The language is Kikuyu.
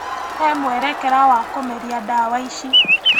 He mwerekera wa kũmeria ndawa ici.